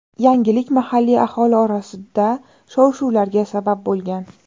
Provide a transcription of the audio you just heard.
Yangilik mahalliy aholi orasida shov-shuvlarga sabab bo‘lgan.